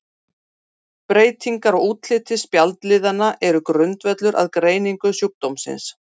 Breytingar á útliti spjaldliðanna eru grundvöllur að greiningu sjúkdómsins.